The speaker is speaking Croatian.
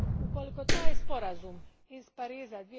ukoliko taj sporazum iz Pariza